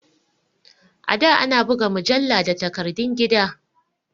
A da ana buga mujalla da takardun gida